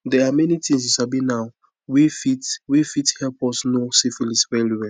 they are many things u sabi now were fit were fit help us know syphilis well well